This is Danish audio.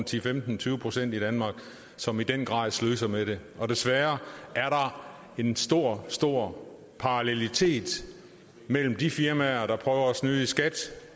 til femten tyve procent i danmark som i den grad sløser med det og desværre er der en stor stor parallelitet mellem de firmaer der prøver at snyde i skat